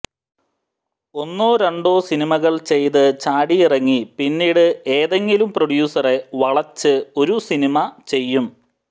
ഒന്നോ രണ്ടോ സിനിമകൾ ചെയ്ത് ചാടിയിറങ്ങി പിന്നീട് ഏതെങ്കിലും പ്രൊഡ്യൂസറെ വളച്ച് ഒരു സിനിമ ചെയ്യും